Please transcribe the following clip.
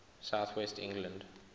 south west england